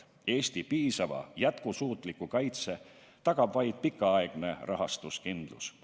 Eesti piisava jätkusuutliku kaitse tagab vaid pikaaegne rahastuskindlus.